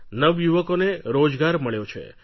નવયુવકોને રોજગાર મળ્યો છે